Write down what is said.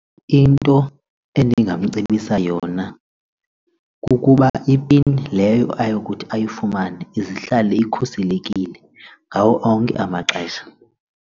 Into endingamcebisa yona kukuba ipin leyo ayokuthi ayifumane izihlale ikhuselekile ngawo onke amaxesha.